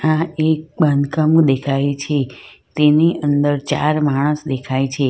આ એક બાંધકામું દેખાય છે તેની અંદર ચાર માણસ દેખાય છે.